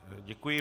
Děkuji.